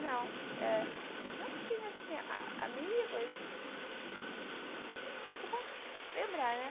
não, é. Nós tínhamos, assim, amigos que eu posso lembrar, né?